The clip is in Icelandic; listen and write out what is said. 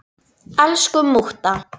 Elsku mútta.